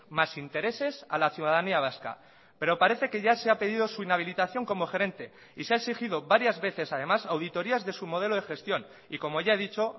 más intereses a la ciudadanía vasca pero parece que ya se ha pedido su inhabilitación como gerente y se ha exigido varias veces además auditorias de su modelo de gestión y como ya he dicho